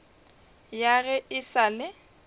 ya ge e sa le